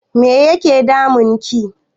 Me yake damun ki?